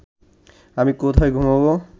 আমি কোথায় ঘুমোব